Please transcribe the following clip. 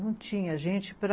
Não tinha gente para...